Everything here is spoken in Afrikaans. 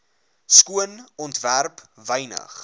skoon ontwerp wynig